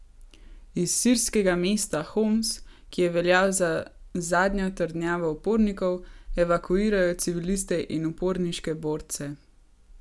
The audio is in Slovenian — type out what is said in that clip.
Iz sirskega mesta Homs, ki je veljal za zadnjo trdnjavo upornikov, evakuirajo civiliste in uporniške borce.